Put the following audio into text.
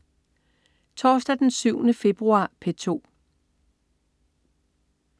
Torsdag den 7. februar - P2: